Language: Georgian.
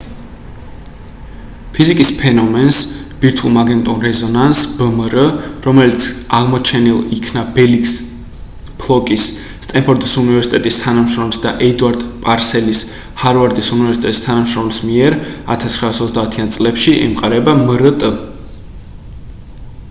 ფიზიკის ფენომენს ბირთვულ მაგნიტურ რეზონანსს ბმრ რომელიც აღმოჩენილ იქნა ფელიქს ბლოკის სტენფორდის უნივერსიტეტის თანამშრომლის და ედვარდ პარსელის ჰარვარდის უნივერსიტეტის თანამშრომელი მიერ 1930-იან წლებში ემყარება მრტ